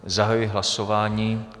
Zahajuji hlasování.